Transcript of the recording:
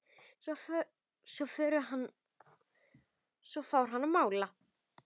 Svo fór hann að mála.